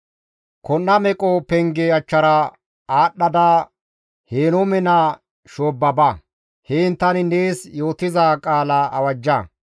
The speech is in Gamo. Kon7a Meqo Penge achchara aadhdhada Henoome naa shoobba ba; heen tani nees yootiza qaala awajja.